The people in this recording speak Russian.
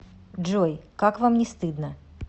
джой как вам не стыдно